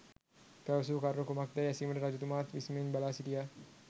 පැවසූ කරුණ කුමක්දැයි ඇසීමට රජතුමාත් විස්මයෙන් බලා සිටියා.